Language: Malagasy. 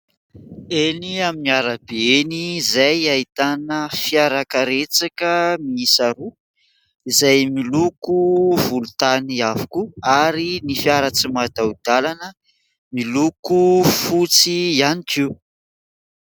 Eny amin'ny arabe eny izay ahitana fiara karetsaka miisa roa, izay miloko volontany avokoa ary ny fiara tsy mataho-dalana, miloko fotsy ihany koa.